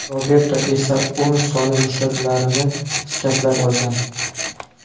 Roberto esa o‘ng soni mushaklarini shikastlab olgan.